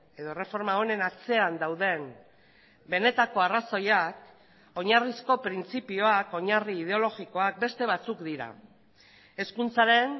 edo erreforma honen atzean dauden benetako arrazoiak oinarrizko printzipioak oinarri ideologikoak beste batzuk dira hezkuntzaren